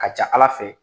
Ka ca ala fɛ